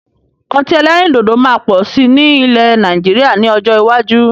Ọtí ẹlẹ́rìndòdò máa pọ̀ sí ní ilẹ́ Nàìjíríà ni ọjọ́ iwájú